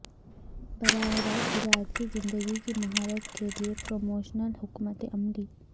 براہ راست ہدایات کی زندگی کی مہارت کے لئے پروموشنل حکمت عملی